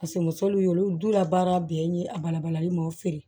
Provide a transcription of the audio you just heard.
Paseke musow ye olu dun ka baara bɛɛ ye a balabalalen mɔ feere